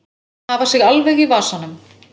Hafa sig alveg í vasanum.